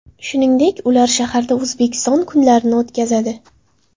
Shuningdek, ular shaharda O‘zbekiston kunlarini o‘tkazadi.